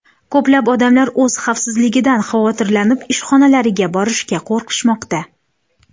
Ko‘plab odamlar o‘z xavfsizligidan xavotirlanib ishxonalariga borishga qo‘rqishmoqda.